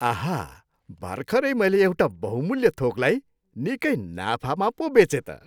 आहा! भर्खरै मैले एउटा बहुमुल्य थोकलाई निकै नाफामा पो बेचेँ त।